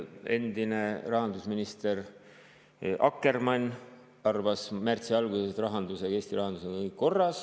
Endine rahandusminister Akkermann arvas märtsi alguses, et Eesti rahandusega on kõik korras.